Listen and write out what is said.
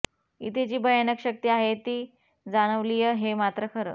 इथे जी भयानक शक्ती आहे ती जाणवलीय हे मात्र खरं